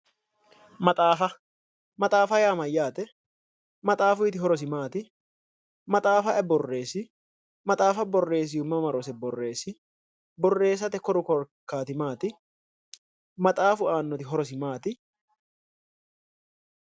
Maxaafa maxaafa yaa mayyaate? maxaafuyiiti horosi maati? maxaafa ayi borreessi? maxaafa borreessihu mama rose borreesi? borreessate koru korkaati maati? maxaafu aannoti horosi maati?